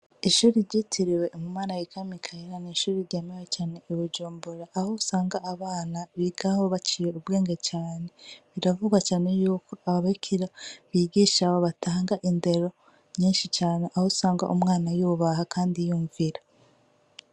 Ishuri ryitirwe umu malayika Mikaheli. N'ishure ryemewe cane i Bujumbura, aho usanga abana bigaho baciye ubwenge cane. Biravugwa cane yuko aba bikirara bigisha, abo batanga indero nyinshi cane aho usanga umwana yubaha kandi yumvira.